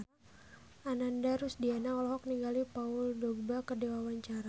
Ananda Rusdiana olohok ningali Paul Dogba keur diwawancara